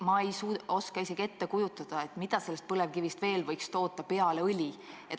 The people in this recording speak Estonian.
Ma ei oska isegi ette kujutada, mida põlevkivist võiks veel toota peale õli.